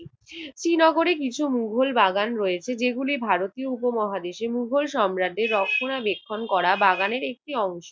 শ্রীনগরে কিছু মোগল বাগান রয়েছে। যেগুলো ভারতীয় উপমহাদেশে মোগল সাম্রাজ্যের রক্ষণাবেক্ষণ করা বাগানের একটি অংশ।